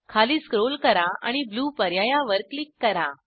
खाली स्क्रोल करा आणि ब्लू पर्यायावर क्लिक करा